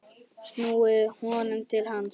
snúið honum til manns.